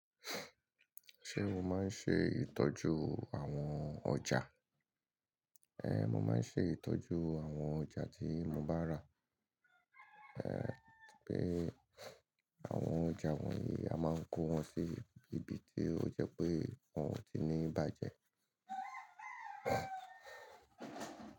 Ṣé mo máa ń ṣe ìtọ́jú àwọn ọjà? Éhn, mo máa ń ṣe ìtọ́jú àwọn ọjà tí mo bá rà. Bíi àwọn ọjà wọ̀nyí a máa n kó wọn sí ibi tí ó jẹ́ pé wọn ò tí nì bájẹ.